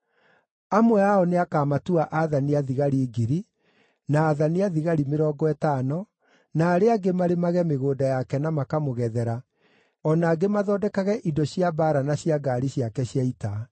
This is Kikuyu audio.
Amwe ao nĩakamatua aathani a thigari ngiri, na aathani a thigari mĩrongo ĩtano, na arĩa angĩ marĩmage mĩgũnda yake na makamũgethera, o na angĩ mathondekage indo cia mbaara na cia ngaari ciake cia ita.